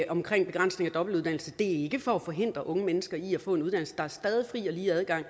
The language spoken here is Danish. om begrænsning af dobbeltuddannelse det er ikke for at forhindre unge mennesker i at få en uddannelse der er stadig fri og lige adgang